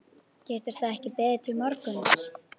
Getur það ekki beðið til morguns?